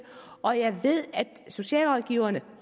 og jeg ved at socialrådgiverne